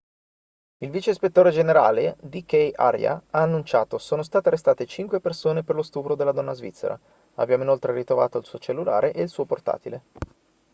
il vice ispettore generale dk arya ha annunciato sono state arrestate cinque persone per lo stupro della donna svizzera abbiamo inoltre ritrovato il suo cellulare e il suo portatile